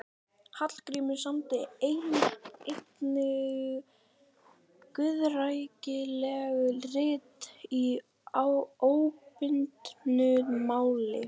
Hallgrímur samdi einnig guðrækileg rit í óbundnu máli.